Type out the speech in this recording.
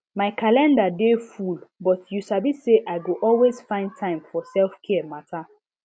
my calendar dey full but you sabi say i go always find time for selfcare matter